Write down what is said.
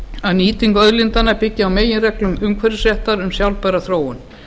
að nýting auðlindanna byggi á meginreglum umhverfisréttar um sjálfbæra þróun